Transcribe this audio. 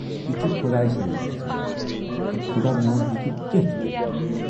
یہِ چھِ خۅدایہِ سٕندِس اتھَس منز، تہٕ خۅدا میون ہیکہِ کینہہ تہِ کٔرِتھ۔